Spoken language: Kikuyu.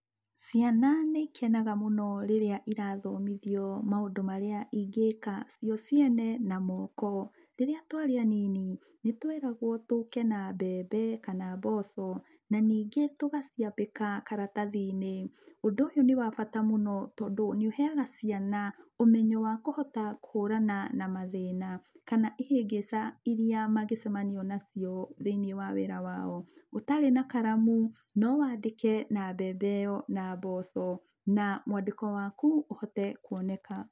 Ciana nĩikenaga mũno rĩrĩa irathomithio maũndũ marĩa ingĩka cio ciene na moko. Rĩrĩa twarĩ anini, nĩtweragwo tũke na mbembe kana mboco. Na ningĩ tũgaciambĩka karatathi-inĩ. Ũndũ ũyũ nĩ wa bata mũno tondũ nĩũheaga ciana ũmenyo wa kũhota kũhũrana na mathĩna, kana ihĩngĩca iria mangĩcemania nacio, thĩinĩ wa wĩra wao. Ũtarĩ na karamu, nowandĩke na mbembe ĩyo, na mboco na mwandĩko waku ũhote kuoneka.